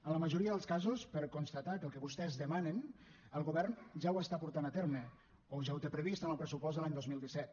en la majoria dels casos per constatar que el que vostès demanen el govern ja ho està portant a terme o ja ho té previst en el pressupost de l’any dos mil disset